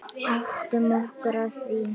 Áttum okkur á því.